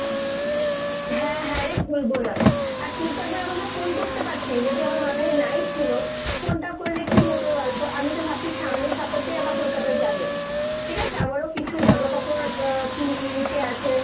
হ্যাঁ হ্যাঁ রে ভুলবো না। আর তুই তো একবার আমাকে phone করতে পারতিস যদি আমার মাথায় নাই ছিল। phone টা করলে কী হতো বলতো ? আমিতো ভাবছি সামনের সপ্তাতেই আবার Kolkata যাবো। ঠিক আছে আমারও কিছু জামাকাপড় আহ কিন্ নিতে আছে।